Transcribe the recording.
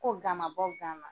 Ko gan ma bɔ gan na.